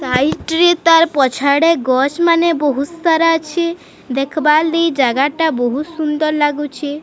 Side ରେ ତାର ପଛ ଆଡେ ଗଛ୍ ମାନେ ବୋହୁତ୍ ସାରା ଅଛି ଦେଖ୍ ବାରଲି ଜାଗାଟା ବୋହୁତ ସୁନ୍ଦର୍ ଲଗୁଛି।